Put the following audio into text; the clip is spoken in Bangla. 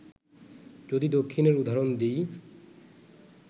যদি দক্ষিণের উদাহরণ দিই